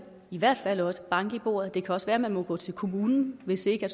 i hvert fald også banke i bordet det kan også være man må gå til kommunen hvis ikke